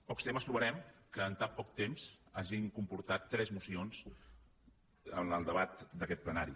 pocs temes trobarem que en tan poc temps hagin comportat tres mocions en el debat d’aquest plenari